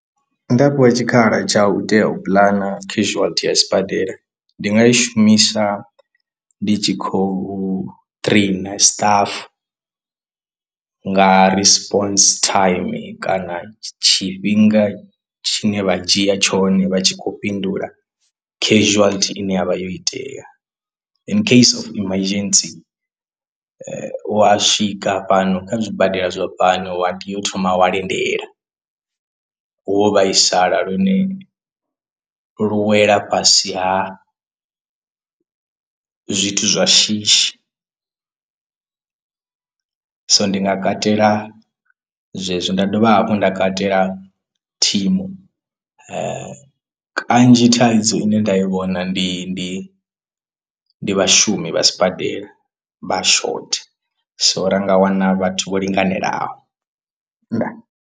Nda fhiwa tshikhala tsha u tea u puḽana casuality ya sibadela ndi nga i shumisa ndi tshi khou traina stuff nga responds time kana tshifhinga tshine vha dzhia tshone vha tshi khou fhindula casuality ine yavha yo itea and in case emergency wa swika fhano kha zwibadela zwa fhano wa tea u thoma wa lindela wo vhaisala lune lu wela fhasi ha zwithu zwa shishi so ndi nga katela zwezwi nda dovha hafhu nda katela thimu kanzhi thaidzo ine nda i vhona ndi ndi ndi vhashumi vha sibadela vha shotha so ra nga wana vhathu vho linganelaho nda.